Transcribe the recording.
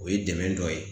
O ye dɛmɛ dɔ ye